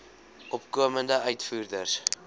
opkomende uitvoerders